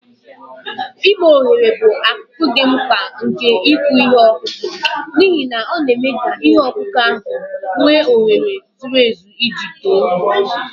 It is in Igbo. Ime ohere bụ akụkụ dị mkpa nke ịkụ ihe ọkụkụ, n'ihi na ọ na-eme ka ihe ọkụkụ ahụ nwee ohere zuru ezu iji too.